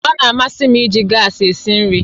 Ọ na-amasị m iji gas esi nri